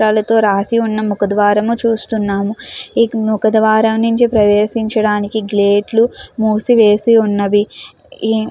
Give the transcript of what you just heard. వాళ్ళతో రాసి ఉన్న ముఖ ద్వారము చూస్తున్నాము. ఇక ముఖ ద్వారా నుంచి ప్రవేశించడానికి గేట్లు మూసివేసి ఉన్నవి. ఈ --